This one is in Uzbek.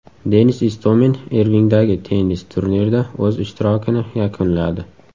Denis Istomin Irvingdagi tennis turnirida o‘z ishtirokini yakunladi.